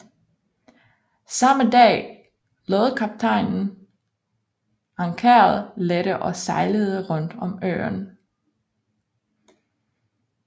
Samme dag lod kaptajnen ankeret lette og sejlede rundt om øen